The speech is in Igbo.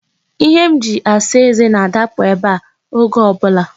Ihe m ji asa eze na-adapụ ebe a oge ọ bụla.